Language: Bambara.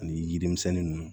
Ani yirimisɛn ninnu